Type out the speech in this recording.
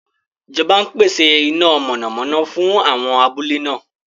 Ìjọba ń pèsè iná mọ̀nàmọ́ná fún àwọn abúlé náà.